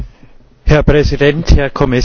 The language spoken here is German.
Herr Präsident, Herr Kommissar!